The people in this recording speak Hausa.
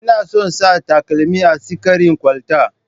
Ina son sa takalmin a tsikari kwalta.